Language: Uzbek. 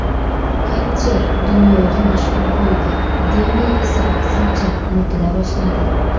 Katcher dunyoga mashhur bo‘ldi, Demi esa aksincha unutila boshladi.